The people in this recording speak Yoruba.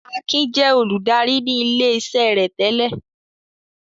Akin jẹ́ olùdarí ní ilé-iṣẹ́ rẹ̀ tẹ́lẹ̀.